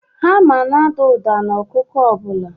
Hama na-ada ụda n'ọkụkụ ọ bụla.